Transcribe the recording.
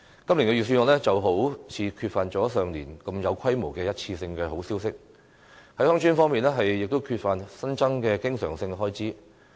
今年的預算案好像缺乏了上年度這麼有規模的一次性好消息，在鄉村方面，亦缺乏新增的經常性開支。